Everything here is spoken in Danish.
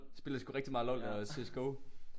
Spillede sgu rigtig meget LOL og C S go